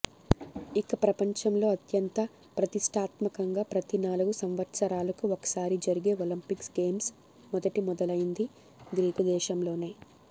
ఇక ప్రపంచంలో అత్యంత ప్రతిష్టాత్మకంగా ప్రతి నాలుగు సంవత్సరాలకు ఒకసారి జరిగే ఒలంపిక్స్ గేమ్స్ మొదట మొదలైంది గ్రీకు దేశంలోనే